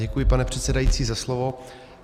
Děkuji, pane předsedající, za slovo.